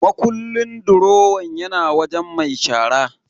Makullin durowan yana wajen mai shara.